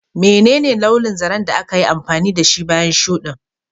Menene launin zaren da aka yi amfani da shi bayan shuɗin?